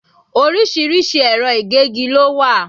Orísìírísìí ẹ̀rọ ìgégi lo wà